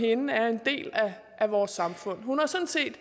er en andel af vores samfund hun har sådan set